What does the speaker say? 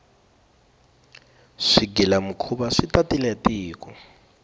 swigila mikhuva swi tatile tiko